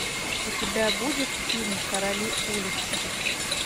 у тебя будет фильм короли улиц